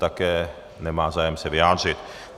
Také nemá zájem se vyjádřit.